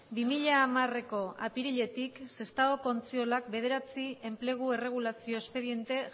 bi mila hamareko apiriletik sestaoko ontziolan bederatzi enplegu erregulazio espediente